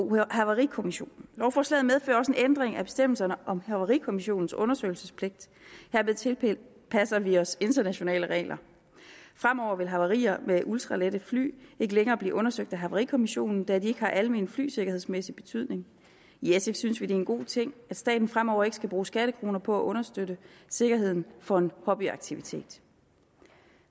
der havarikommissionen lovforslaget medfører også en ændring af bestemmelserne om havarikommissionens undersøgelsespligt hermed tilpasser vi os internationale regler fremover vil havarier med ultralette fly ikke længere blive undersøgt af havarikommissionen da de ikke har almen flysikkerhedsmæssig betydning i sf synes vi det er en god ting at staten fremover ikke skal bruge skattekroner på at understøtte sikkerheden for en hobbyaktivitet